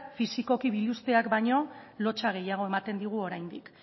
fisikoki biluzteak baino lotsa gehiago ematen digu oraindik